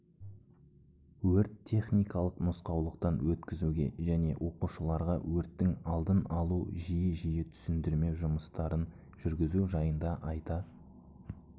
өрт-техникалық нұсқаулықтан өткізуге және оқушыларға өрттің алдын алу үшін жиі-жиі түсіндірме жұмыстарын жүргізу жайында айта